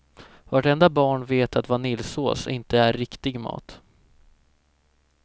Vartenda barn vet att vaniljsås inte är riktig mat.